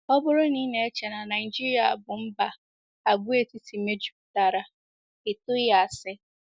Ọ bụrụ na i na-eche na Naịjirịa bụ mba àgwàetiti mejupụtara, i tụghị asi.